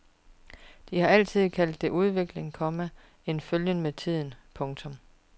De har altid kaldt det udvikling, komma en følgen med tiden. punktum